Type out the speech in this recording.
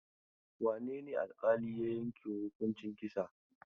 Wane ne alƙali ya yanke wa hukuncin kisa?